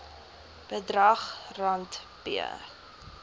bedrag rand p